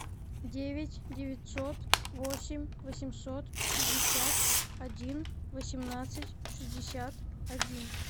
девять девятьсот восемь восемьсот пятьдесят один восемнадцать шестьдесят один